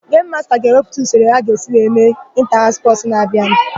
Gemu masta ga-ewepụta usoro ka a ga-esi mee ịnta-haụs spọsụ na-abịanụ.